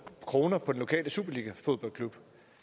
kroner på den lokale superligafodboldklub